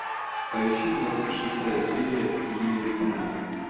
поищи двадцать шестая серия иерихон